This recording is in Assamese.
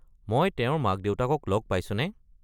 মই তেওঁৰ মাক-দেউতাকক লগ পাইছোনে?